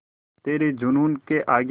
तेरे जूनून के आगे